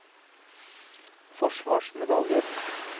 forsvarsmedaljen